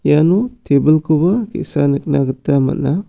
iano tebilkoba ge·sa nikna gita man·a.